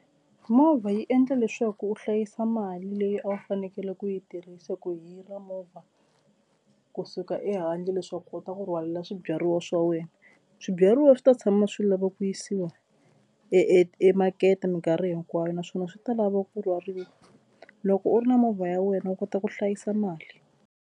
Movha yi endla leswaku u hlayisa mali leyi a wu fanekele ku yi tirhisa ku hira movha kusuka ehandle leswaku u kota ku rhwala swibyariwa swa wena Swibyariwa swi ta tshama swi lava ku yisiwa e emakete mikarhi hinkwayo naswona swi ta lava ku rhwariwa. Loko u ri na movha ya wena u kota ku hlayisa mali.